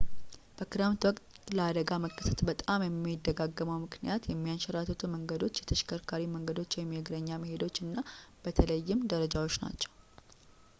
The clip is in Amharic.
በክረምት ወቅት ለአደጋ መከሰት በጣም የሚደጋገመው ምክንያት የሚያንሸራትቱ መንገዶች፣ የተሽከርካሪ መንገዶች የእግረኛ መሄጃዎች እና በተለይም ደረጃዎች ናቸው